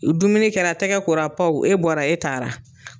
dumuni kɛra tɛgɛ kora e bɔra e taara.